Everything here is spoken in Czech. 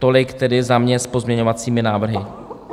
Tolik tedy za mě s pozměňovacími návrhy.